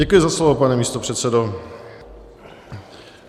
Děkuji za slovo, pane místopředsedo.